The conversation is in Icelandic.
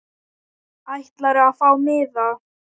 Ætlarðu að fá miða?